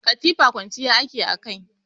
Katifa kwanciya ake a kai.